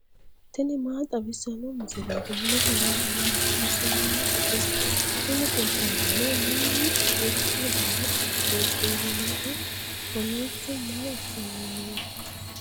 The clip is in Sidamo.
tini maa xawissanno misileeti ? mulese noori maati ? hiissinannite ise ? tini kultannori mannu mitto dana uddirinohu kowiicho maa assanni nooikka